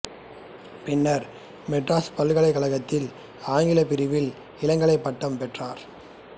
பின்னர் மெட்ராஸ் பல்கலைக்கழகத்தில் ஆங்கிலப் பிரிவில் இளங்கலை பட்டம் பெற்றார்